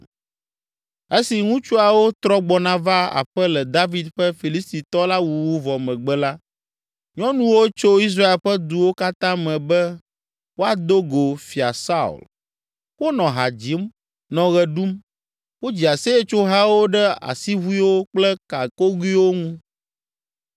Esi ŋutsuawo trɔ gbɔna va aƒe le David ƒe Filistitɔ la wuwu vɔ megbe la, nyɔnuwo tso Israel ƒe duwo katã me be woado go Fia Saul. Wonɔ ha dzim, nɔ ɣe ɖum. Wodzi aseyetsohawo ɖe asiʋuiwo kple gakogoewo ŋu.